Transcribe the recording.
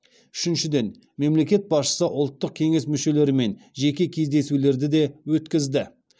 үшіншіден мемлекет басшысы ұлттық кеңес мүшелерімен жеке кездесулерді де өткізді